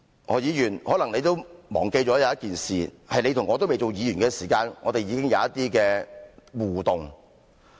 何議員，可能你忘記了一件事，在你和我未當議員的時候，我們已經有一些互動。